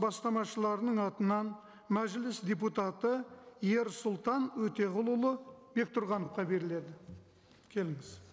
бастамашыларының атынан мәжіліс депутаты ерсұлтан өтеғұлұлы бектұрғановқа беріледі келіңіз